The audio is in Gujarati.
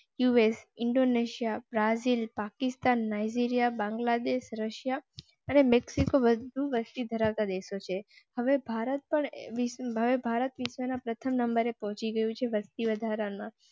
US, Indonesia, Brazil, Pakistan, Nigeria, Bangladesh, Russia and Mexico વધુ વસ્તી ધરાવતો દેશ છે. હવે ભારત પર ભારતના પ્રથમ નંબરે પહોંચી ગયું છે. વસ્તી વધારા માં